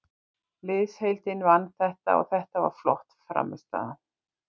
Liðsheildin vann þetta og þetta var flott frammistaða.